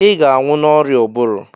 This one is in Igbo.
ị ga-anwụ n'oria ụbụrụ